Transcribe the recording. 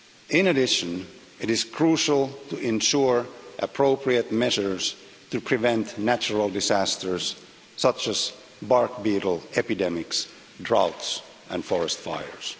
In addition, it is crucial to ensure appropriate measures to prevent natural disasters such as bark beetle epidemics, droughts and forest fires.